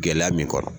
Gɛlɛya min kɔnɔ